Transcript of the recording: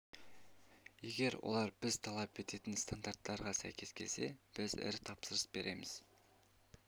егер олар біз талап ететін стандарттарға сәйкес келсе біз ірі тапсырыс береміз